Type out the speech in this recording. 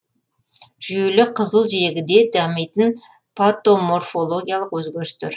жүйелі қызыл жегіде дамитын патоморфологиялық өзгерістер